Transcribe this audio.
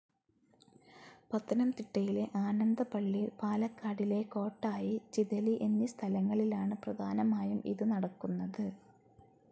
പത്തനംതിട്ടയിലെ ആനന്ദപ്പള്ളി, പാലക്കാടിലെ കോട്ടായി, ചിതലി എന്നീ സ്ഥലങ്ങളിലാണ് പ്രധാനമായും ഇത് നടക്കുന്നത്.